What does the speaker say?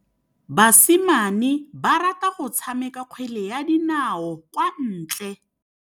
Basimane ba rata go tshameka kgwele ya dinaô kwa ntle.